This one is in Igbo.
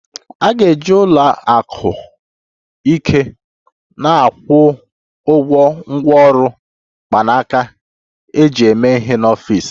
A ga-eji ụlọ akụ ike na-akwụ ụgwọ ngwaọrụ mkpanaka eji eme ihe n'ọfịs